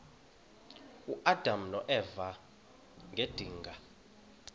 uadam noeva ngedinga